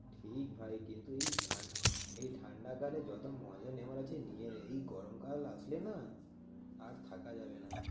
ঠিক ভাই কিন্তু এই এই ঠান্ডাকালে যতো মজা নেওয়ার আছে নিয়ে নে। এই গরমকাল আসলে না? আর থাকা যাবেনা।